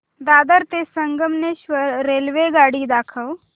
दादर ते संगमेश्वर रेल्वेगाडी दाखव